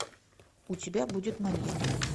у тебя будет маньяк